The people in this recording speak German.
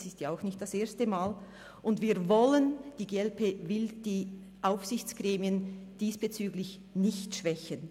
Es ist nicht das erste Mal und wir, die glp, wollen die Aufsichtsgremien diesbezüglich nicht schwächen.